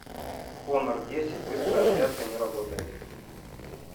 хонор десять быстрая зарядка не работает